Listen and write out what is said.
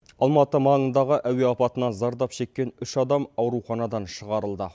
алматы маңындағы әуе апатынан зардап шеккен үш адам ауруханадан шығарылды